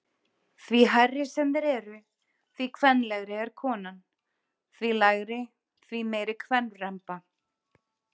Því hærri sem þeir eru, því kvenlegri er konan, því lægri, því meiri kvenremba.